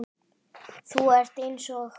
Þú ert eins og